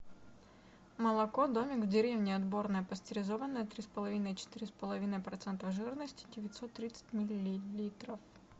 молоко домик в деревне отборное пастеризованное три с половиной четыре с половиной процентов жирности девятьсот тридцать миллилитров